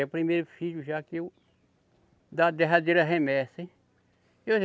É o primeiro filho já que eu, da derradeira remessa, hein?